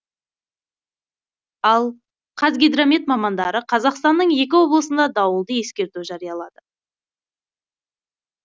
ал қазгидромет мамандары қазақстанның екі облысында дауылды ескерту жариялады